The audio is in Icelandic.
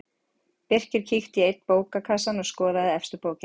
Birkir kíkti í einn bókakassann og skoðaði efstu bókina.